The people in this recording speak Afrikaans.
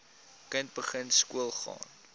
kind begin skoolgaan